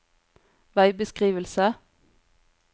veibeskrivelse